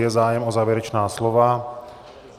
Je zájem o závěrečná slova?